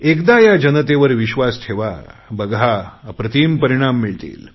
एकदा या देशातल्या जनतेवर विश्वास ठेवा बघा अप्रतिम परिणाम मिळतील